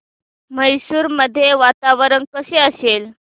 मैसूर मध्ये वातावरण कसे असेल